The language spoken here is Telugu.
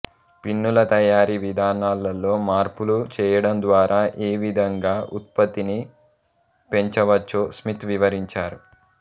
పిన్నుల తయారీ విధానాలలో మార్పులు చేయడంద్వారా ఏవిధంగా ఉత్పత్తిని పెంచవచ్చో స్మిత్ వివరించారు